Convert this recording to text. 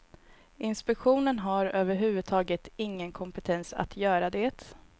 Inspektionen har överhuvudtaget ingen kompetens att göra det.